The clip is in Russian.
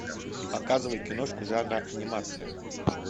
показывай киношку жанра анимация